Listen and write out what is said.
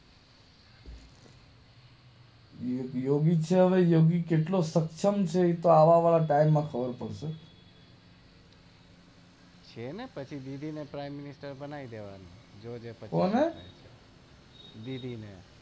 યોગીતસાહ નો યોગી કેટલો સક્સમ છે એ તો આવ વા વાળા ટાઈમ માં જ ખબર પડશે છેને પછી ને પ્રાઈમ મિનિસ્ટર બનાવી દેવાનો કોને